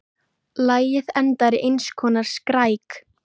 Lagið endar í eins konar skræk.